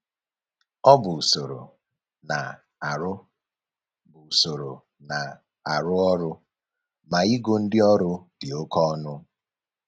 Ọ bụ usoro na-arụ bụ usoro na-arụ ọrụ ma igo ndị ọrụ dị oke ọnụ